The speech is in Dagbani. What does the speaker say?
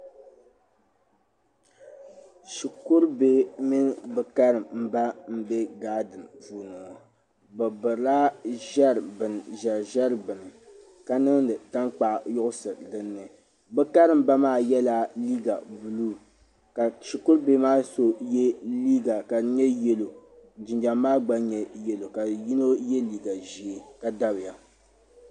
Shikuru bihi mini bɛ karimba m bɛ gaadiri puuni ŋɔ bɛ birila ʒeri ʒeri bɛni ka niŋdi taŋkpaɣu niŋdi dinni bɛ karimba maa yɛlla liiga buluu ka shikuru bihi maa so yɛ liiga ka di nyɛ yɛllo jinjɛm maa gba nyɛ yɛllo ka yino yɛ liiga ʒee ka dabya.